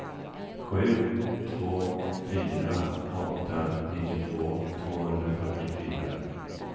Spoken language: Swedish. sju två fyra åtta nittiotvå tvåhundrafyrtiofyra